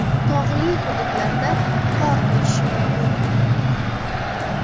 Tog‘li hududlarda qor ko‘chishi mumkin.